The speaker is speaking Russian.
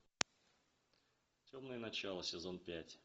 темное начало сезон пять